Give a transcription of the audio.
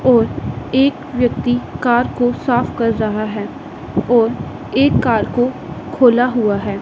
और एक व्यक्ति कार को साफ कर रहा है और एक कार को खोला हुआ है।